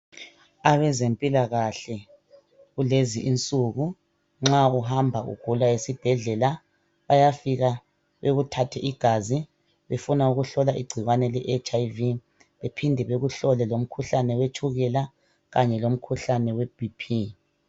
Abezempilakahle kulezi insuku nxa uhamba ugula esibhedlela bayafika bekuthathe igazi befuna ukuhlola igcikwane leHIV bephinde bekuhlole lomkhuhlane wetshukela kanye lomkhuhlane we BP.